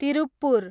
Tiruppur